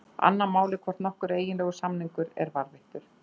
Annað mál er hvort nokkur eiginlegur samningur er varðveittur.